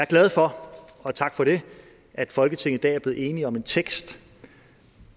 glad for og tak for det at folketinget i dag er blevet enige om en tekst